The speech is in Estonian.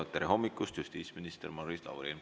Tere hommikust, justiitsminister Maris Lauri!